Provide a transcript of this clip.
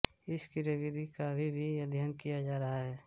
इस क्रियाविधि का अभी भी अध्ययन किया जा रहा है